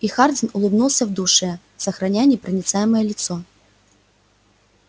и хардин улыбнулся в душе сохраняя непроницаемое лицо